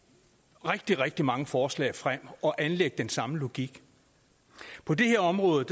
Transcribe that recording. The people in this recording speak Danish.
rigtig rigtig mange forslag frem og anlægge den samme logik og på det her område